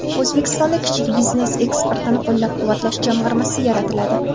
O‘zbekistonda Kichik biznes eksportini qo‘llab-quvvatlash jamg‘armasi yaratiladi.